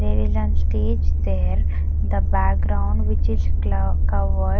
There is an stage there the background which is cla cover.